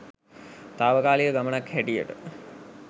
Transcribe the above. තාවකාලික ගමනක් හැටියට